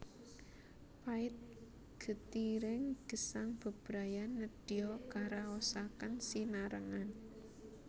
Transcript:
Pait getiring gesang bebrayan nedya karaosaken sinarengan